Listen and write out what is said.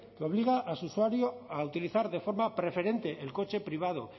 que obliga a su usuario a utilizar de forma preferente el coche privado